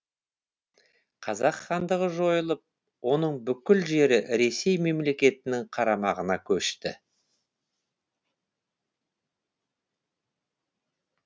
қазан хандығы жойылып оның бүкіл жері ресей мемлекетінің қарамағына көшті